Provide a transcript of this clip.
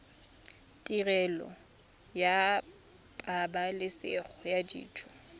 tirelo ya pabalesego ya dijo